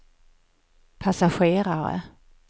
passagerare